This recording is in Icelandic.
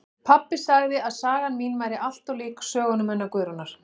Pabbi sagði að sagan mín væri allt of lík sögunum hennar Guðrúnar